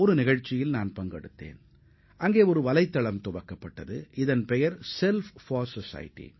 சமுதாயத்திற்காக நான் என்ற பெயரிலான புதிய இணையதள தகவு ஒன்றின் தொடக்கவிழாவில் நான் கலந்து கொண்டேன்